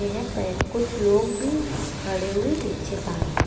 यहे पे कुछ लोग भी खड़े हुए दिक्चित आहे.